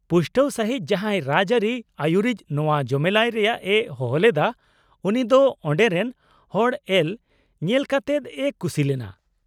-ᱯᱩᱥᱴᱟᱹᱣ ᱥᱟᱹᱦᱤᱡ, ᱡᱟᱦᱟᱸᱭ ᱨᱟᱡᱽᱼᱟᱹᱨᱤ ᱟᱹᱭᱩᱨᱤᱡ ᱱᱚᱶᱟ ᱡᱚᱢᱮᱞᱟᱭ ᱨᱮᱭᱟᱜ ᱮ ᱦᱚᱦᱚᱞᱮᱫᱟ ᱩᱱᱤ ᱫᱚ ᱚᱸᱰᱮ ᱨᱮᱱ ᱦᱚᱲ ᱮᱞ ᱧᱮᱞᱠᱟᱛᱮᱫ ᱮ ᱠᱩᱥᱤᱞᱮᱱᱟ ᱾